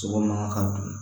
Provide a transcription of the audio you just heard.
Sogo man kan ka dun